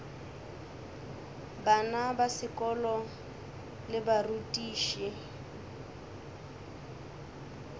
bana ba sekolo le barutiši